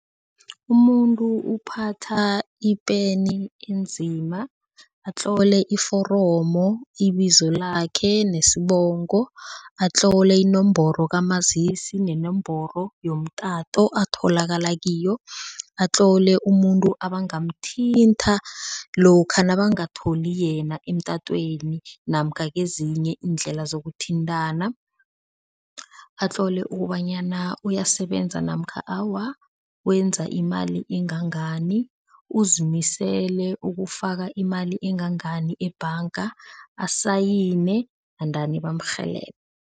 Umuntu uphatha ipeni enzima, atlole iforomo ibizo lakhe nesibongo, atlole inomboro kamazisi nenomboro yomtato atholakala kiyo, atlole umuntu abangamthinta lokha nabangatholi yena emtatweni namkha kezinye iindlela zokuthintana, atlole ukobanyana uyasebenza namkha awa, wenza imali engangani, uzimisele ukufaka imali engangani ebhanga, asayine endani bamrhelebhe.